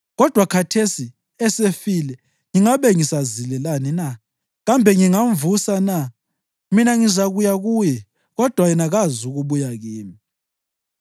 Kodwa khathesi esefile ngingabe ngisazilelani na? Kambe ngingamvusa na? Mina ngizakuya kuye, kodwa yena kazukubuya kimi.”